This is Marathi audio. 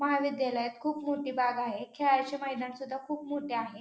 महाविद्यालयात खूप मोठी बाग आहे खेळायचे मैदान सुद्धा खूप मोठे आहे.